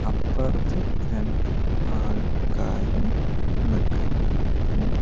അപ്പറത്ത് രണ്ട് ആൾക്കാരും നിൽക്കുന്ന് ഇണ്ട്.